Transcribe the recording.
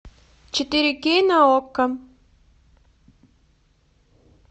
четыре кей на окко